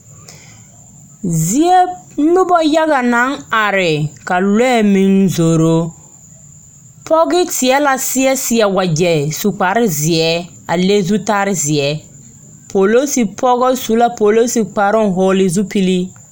Zie noba yaga naŋ are ka lɔɛ meŋ zoro, pɔge teɛ la seɛ seɛ wagyɛ su kpare zeɛ a le zutare zeɛ polosi pɔgɔ su la polosi kparoŋ hɔgele zupili.